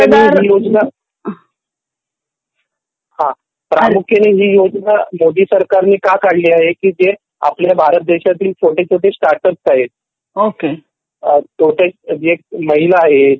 ही योजना हा प्रामुख्याने ही योजना मोदी सरकारने का काढली आहे की जे आपले भारत देशातील छोटे छोटे स्टार्ट अपस आहेत ओके किंवा जे महिला आहेत